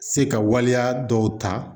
Se ka waleya dɔw ta